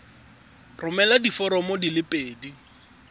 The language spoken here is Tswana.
romela diforomo di le pedi